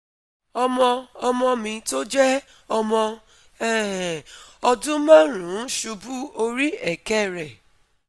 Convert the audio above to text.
Ọmọ ọmọ mi tó jẹ́ ọmọ um ọdún márùn ún ṣubú ori eke rẹ̀